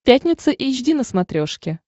пятница эйч ди на смотрешке